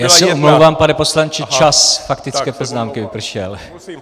Já se omlouvám, pane poslanče, čas faktické poznámky vypršel.